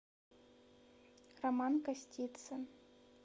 роман костицын